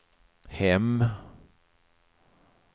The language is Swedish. hem